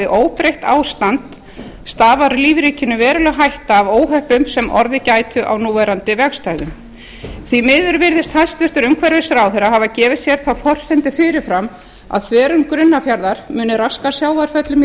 óbreytt ástand stafar lífríkinu veruleg hætta af óhöppum sem orðið gætu á núverandi vegarstæðum því miður virðist hæstvirtur umhverfisráðherra hafa gefið sér þá forsendu fyrir fram að þverun grunnafjarðar muni raska sjávarföllum í